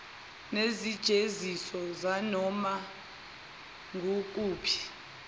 nezijeziso zanoma ngukuphi